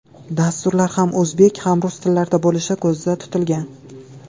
Dasturlar ham o‘zbek, ham rus tillarida bo‘lishi ko‘zda tutilgan.